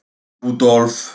Rúdólf